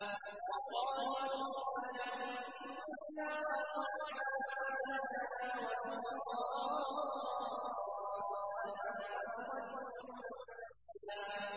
وَقَالُوا رَبَّنَا إِنَّا أَطَعْنَا سَادَتَنَا وَكُبَرَاءَنَا فَأَضَلُّونَا السَّبِيلَا